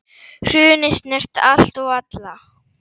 Hrunið snerti allt og alla.